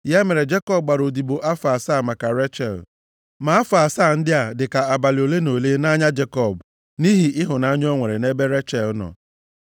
Ya mere Jekọb gbara odibo afọ asaa maka Rechel. Ma afọ asaa ndị a dịka abalị ole na ole nʼanya Jekọb nʼihi ịhụnanya o nwere nʼebe Rechel nọ.